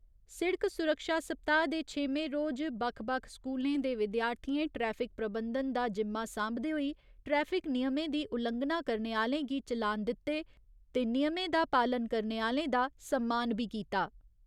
सिड़क सुरक्षा सप्ताह् दे छेमें रोज, बक्ख बक्ख स्कूलें दे विद्यार्थिएं ट्रैफिक प्रबंधन दा जिम्मा सांभदे होई ट्रैफिक नियमें दी उल्लंघना करने आह्‌लें गी चलान दित्ते ते नियमें दा पालन करने आह्‌लें दा सम्मान बी कीता।